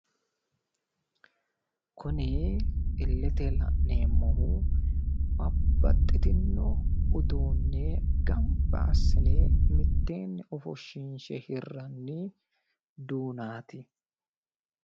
Kuni illete la'neemmohu babbaxxitino uduunne gamba assine mitteenni ofoshshiinshe hirranni duunaati